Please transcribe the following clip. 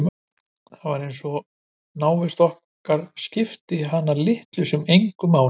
Það var eins og návist okkar skipti hana litlu sem engu máli.